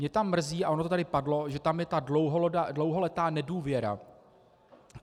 Mě tam mrzí, a ono to tady padlo, že tam je ta dlouholetá nedůvěra.